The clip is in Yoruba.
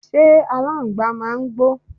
ṣé aláǹgbàá màá ń gbó?